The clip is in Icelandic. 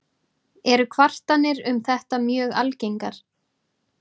Eru kvartanir um þetta mjög algengar.